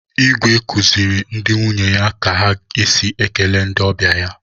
Igwe kuziri ndi nwunye ya ka esi ekele ndị ọbịa ya.